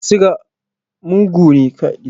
Ciwon suga mugu ne.